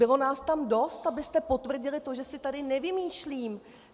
Bylo nás tam dost, abyste potvrdili to, že si tady nevymýšlím!